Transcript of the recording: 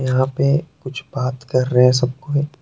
यहाँ पे कुछ बात कर रहे है सब कोई।